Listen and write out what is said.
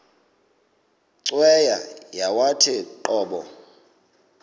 cweya yawathi qobo